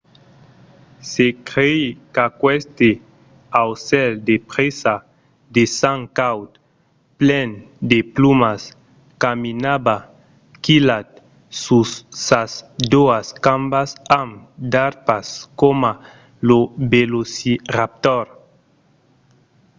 se crei qu’aqueste aucèl de presa de sang caud plen de plumas caminava quilhat sus sas doas cambas amb d’arpas coma lo velociraptor